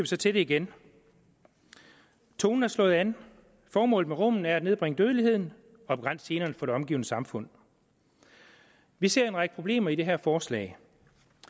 så til det igen tonen er slået an formålet med rummene er at nedbringe dødeligheden og begrænse generne for det omgivende samfund vi ser en række problemer i det her forslag